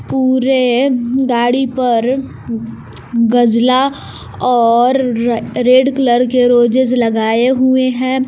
पूरे गाड़ी पर गजला और रेड कलर के रोजेस लगाए हुए हैं।